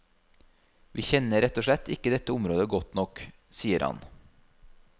Vi kjenner rett og slett ikke dette området godt nok, sier han.